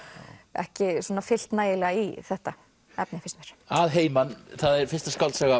ekki fyllt nægilega í þetta efni finnst mér að heiman það er fyrsta skáldsaga